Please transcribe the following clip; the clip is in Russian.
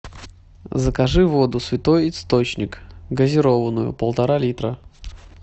закажи воду святой источник газированную полтора литра